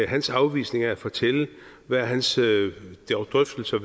hans afvisning af at fortælle hvad hans drøftelser